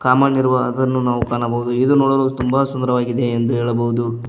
ಸಾಮಾನ್ ಇರುವ ಅದನ್ನು ನಾವು ಕಾಣಬಹುದು ಇದು ನೋಡಲು ತುಂಬಾ ಸುಂದರವಾಗಿದೆ ಎಂದು ಹೇಳಬಹುದು.